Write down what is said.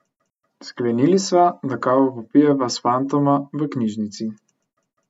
Sklenili sva, da kavo popijeva s fantoma v knjižnici.